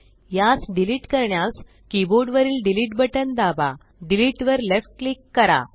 यास डिलीट करण्यास कीबोर्ड वरील डिलीट बटन दाबा डिलीट वर लेफ्ट क्लिक करा